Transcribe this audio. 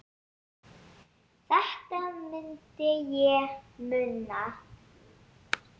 Þetta myndi ég muna!